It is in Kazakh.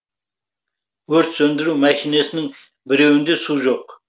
өрт сөндіру мәшинесінің біреуінде су жоқ